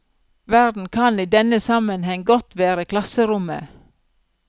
Verden kan i denne sammenheng godt være klasserommet.